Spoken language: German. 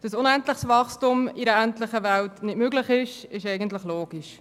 Dass unendliches Wachstum in einer endlichen Welt nicht möglich ist, ist eigentlich logisch.